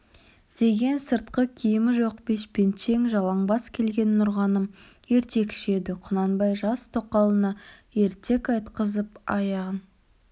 деген сыртқы киімі жоқ бешпентшең жалаңбас келген нұрғаным ертекші еді құнанбай жас тоқалына ертек айтқызып аяғын